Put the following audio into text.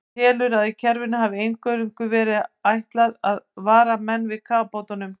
Hann telur, að kerfinu hafi einvörðungu verið ætlað að vara menn við kafbátum.